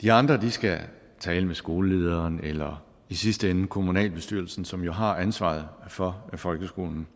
de andre skal tale med skolelederen eller i sidste ende kommunalbestyrelsen som jo har ansvaret for folkeskolen